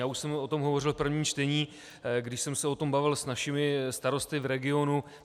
Já už jsem o tom hovořil v prvním čtení, když jsem se o tom bavil s našimi starosty v regionu.